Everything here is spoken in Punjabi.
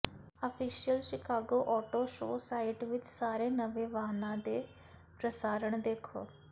official Chicago auto show site ਵਿਚ ਸਾਰੇ ਨਵੇਂ ਵਾਹਨਾਂ ਦੇ ਪ੍ਰਸਾਰਣ ਦੇਖੋ